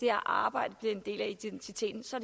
arbejde bliver en del af identiteten så